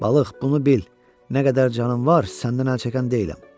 Balıq, bunu bil, nə qədər canım var, səndən əl çəkən deyiləm.